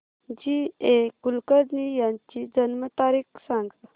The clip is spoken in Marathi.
जी ए कुलकर्णी यांची जन्म तारीख सांग